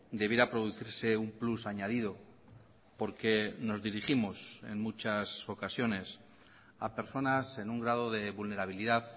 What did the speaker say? debiera producirse un plus añadido porque nos dirigimos en muchas ocasiones a personas en un grado de vulnerabilidad